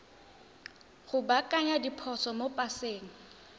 go baakanya diphoso mo paseng